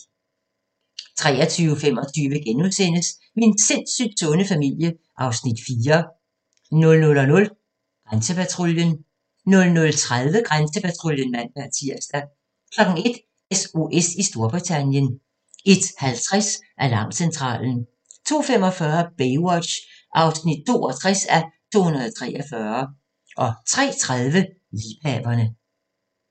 23:25: Min sindssygt sunde familie (Afs. 4)* 00:00: Grænsepatruljen 00:30: Grænsepatruljen (man-tir) 01:00: SOS i Storbritannien 01:50: Alarmcentralen 02:45: Baywatch (62:243) 03:30: Liebhaverne